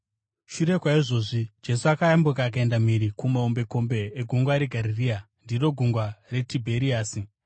Shure kwaizvozvi, Jesu akayambuka akaenda mhiri kumahombekombe eGungwa reGarirea (ndiro Gungwa reTibheriasi),